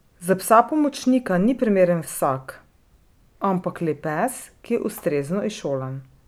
Za psa pomočnika ni primeren vsak, ampak le pes, ki je ustrezno izšolan.